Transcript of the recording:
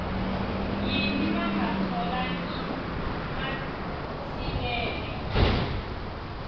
yini va nga tholangi matsilele